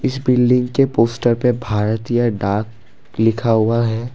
इस बिल्डिंग के पोस्टर पर भारतीय डाक लिखा हुआ है।